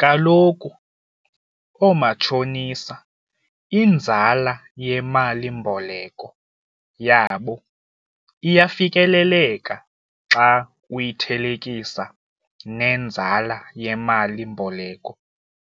Kaloku oomatshonisa inzala yemalimboleko yabo iyafikeleleka xa uyithelekisa nenzala yemalimboleko